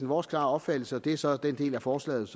vores klare opfattelse og det er så til den del af forslaget